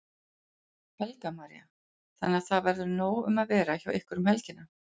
Helga María: Þannig að það verður nóg um að vera hjá ykkur um helgina?